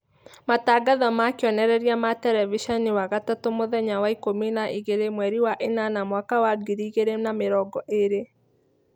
Matangatho ma kĩonereria ma tereviceni wagatatũmũthenya wa ikũmi na igĩrĩ mweri wa ĩnana mwaka wa ngiri igĩrĩ na mĩrongo ĩrĩ.